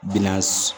Bina